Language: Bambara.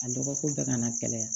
A dɔgɔkun bɛɛ kana kɛnɛya